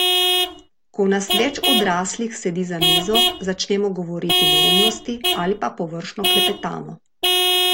Ko nas več odraslih sedi za mizo, začnemo govoriti neumnosti ali pa površno klepetamo.